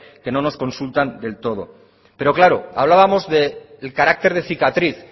que no nos consultan del todo pero claro hablábamos del carácter de cicatriz